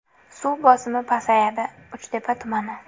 Suv bosimi pasayadi: Uchtepa tumani.